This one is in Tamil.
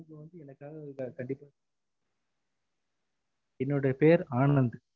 நீங்க வந்து எனக்காக இத கண்டிப்பா என்னோட பேர் ஆனந்த்